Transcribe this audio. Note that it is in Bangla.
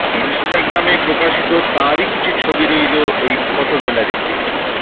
ইনস্টাগ্রামে প্রকাশিত তাঁরই কিছু ছবি রইল এই ফোটো গ্যালারিতে